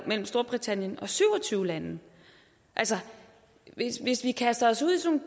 mellem storbritannien og syv og tyve lande hvis hvis vi kaster os ud i sådan